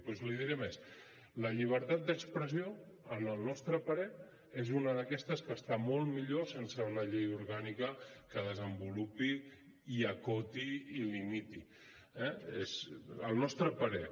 doncs li diré més la llibertat d’expressió al nostre parer és una d’aquestes que està molt millor sense una llei orgànica que la desenvolupi i acoti i limiti eh al nostre parer